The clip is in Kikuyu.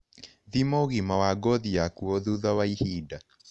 Thima ũgima wa ngothi yaku o thutha wa ihinda